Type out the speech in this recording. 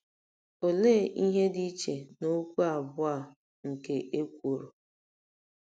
Olee ihe dị iche n'okwu abụọ a nke ekworo?